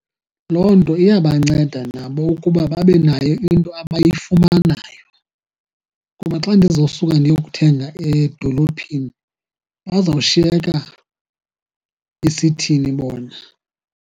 Loo nto iya banceda nabo ukuba babe nayo into abayifumanayo. Kuba xa ndizosuka ndiyokuthenga edolophini bazawushiyeka besithini bona?